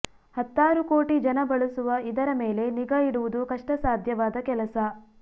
ಹತ್ತಾರು ಕೋಟಿ ಜನ ಬಳಸುವ ಇದರ ಮೇಲೆ ನಿಗಾ ಇಡುವುದು ಕಷ್ಟಸಾಧ್ಯವಾದ ಕೆಲಸ